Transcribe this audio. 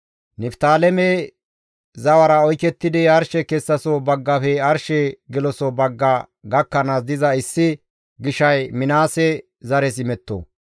Niftaaleme zawara oykettidi arshe kessaso baggafe arshe geloso bagga gakkanaas diza issi gishay Minaase zares imetto.